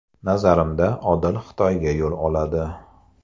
Nazarimda, Odil Xitoyga yo‘l oladi.